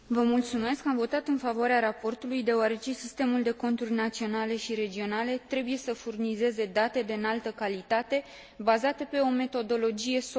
Am votat în favoarea raportului, deoarece sistemul de conturi naționale și regionale trebuie să furnizeze date de înaltă calitate, bazate pe o metodologie solidă.